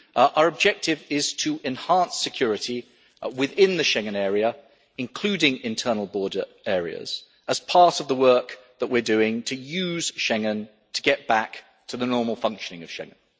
Our objective is to enhance security within the Schengen area, including internal border areas, as part of the work that we are doing to use Schengen to get back to the normal functioning of Schengen.